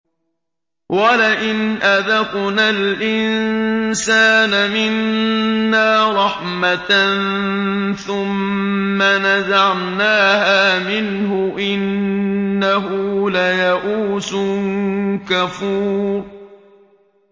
وَلَئِنْ أَذَقْنَا الْإِنسَانَ مِنَّا رَحْمَةً ثُمَّ نَزَعْنَاهَا مِنْهُ إِنَّهُ لَيَئُوسٌ كَفُورٌ